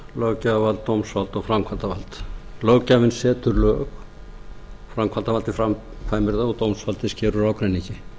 löggjafarvald dómsvald og framkvæmdarvald löggjafinn setur lög framkvæmdarvaldið framkvæmir þau og dómsvaldið sker úr ágreiningi